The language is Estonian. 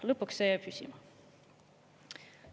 Lõpuks see jäi püsima.